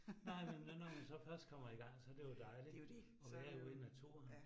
Nej, men når når man så først kommer i gang, så det jo dejligt at være ude i naturen